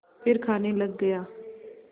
फिर खाने लग गया